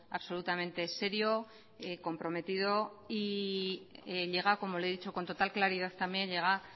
absolutamente serio comprometido y llega como le he dicho con total claridad también llega